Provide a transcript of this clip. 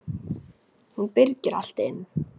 Hún byrgir allt inni.